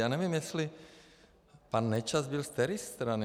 Já nevím, jestli pan Nečas byl ze které strany?